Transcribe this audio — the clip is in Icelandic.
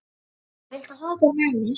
Edda, viltu hoppa með mér?